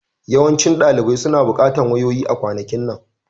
Yawancin ɗalibai suna buƙatar wayoyi a kwanakin nan